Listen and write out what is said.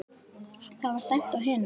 Það var dæmt á hina!